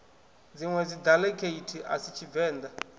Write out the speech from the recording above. dziṋwe daiḽekithi a si tshivenḓa